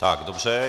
Tak, dobře.